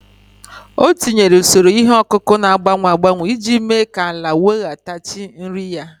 O tinyere usoro ihe ọkụkụ na-agbanwe agbanwe iji mee ka ala nwetaghachi nri ya.